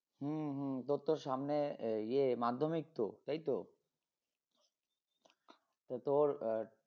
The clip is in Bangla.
হম হম তোর তো সামনে আহ ইয়ে মাধ্যমিক তো এই তো তো তোর আহ